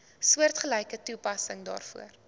soortgelyke toepassing daarvoor